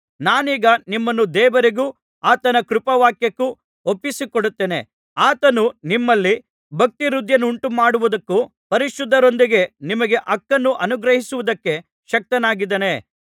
ನಾನೀಗ ನಿಮ್ಮನ್ನು ದೇವರಿಗೂ ಆತನ ಕೃಪಾವಾಕ್ಯಕ್ಕೂ ಒಪ್ಪಿಸಿಕೊಡುತ್ತೇನೆ ಆತನು ನಿಮ್ಮಲ್ಲಿ ಭಕ್ತಿವೃದ್ಧಿಯನ್ನುಂಟುಮಾಡುವುದಕ್ಕೂ ಪರಿಶುದ್ಧರೊಂದಿಗೆ ನಿಮಗೆ ಹಕ್ಕನ್ನು ಅನುಗ್ರಹಿಸುವುದಕ್ಕೆ ಶಕ್ತನಾಗಿದ್ದಾನೆ